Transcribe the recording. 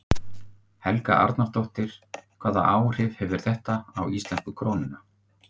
Helga Arnardóttir: Hvaða áhrif hefur þetta á íslensku krónuna?